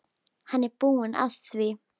Hann er búinn að því.